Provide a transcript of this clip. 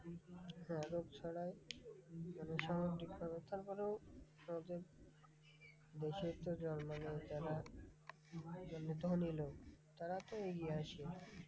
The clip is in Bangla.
হ্যাঁ রোগ ছড়ায়। মানে সামাজিকভাবে তারপরেও ঐ যে দেশের তো যারা মানে যারা ধনী লোক তারা তো এগিয়ে আসে।